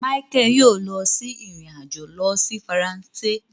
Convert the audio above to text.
Michael yoo lọ sí ìrìn-àjò lọ si Faransé